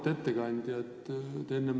Auväärt ettekandja!